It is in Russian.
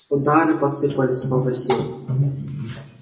удары посыпались с новой силой